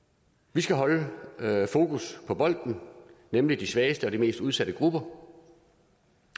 vi skal holde fokus på bolden nemlig de svageste og de mest udsatte grupper